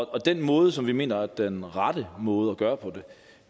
og den måde som vi mener er den rette måde at gøre